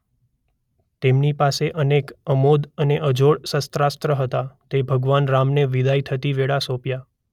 તેમની પાસે અનેક અમોઘ અને અજોડ શસ્ત્રાસ્ત્ર હતા તે ભગવાન રામને વિદાય થતી વેળા સોપ્યા.